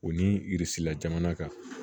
O ni la jamana kan